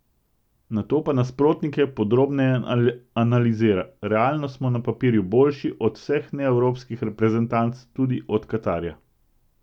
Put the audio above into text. Nato pa nasprotnike podrobneje analizira: 'Realno smo na papirju boljši od vseh neevropskih reprezentanc, tudi od Katarja.